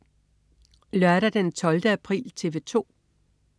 Lørdag den 12. april - TV 2: